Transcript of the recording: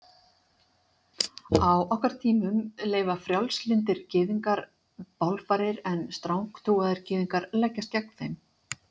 Á okkar tímum leyfa frjálslyndir gyðingar bálfarir en strangtrúaðir gyðingar leggjast gegn þeim.